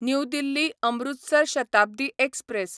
new Delhi Amritsar Shatabdi express